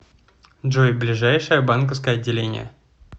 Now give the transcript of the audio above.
джой ближайшее банковское отделение